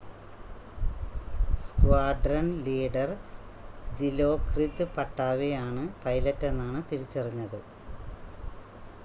squadron leader ദിലോക്രിത് പട്ടാവേ ആണ് പൈലറ്റെന്നാണ് തിരിച്ചറിഞ്ഞത്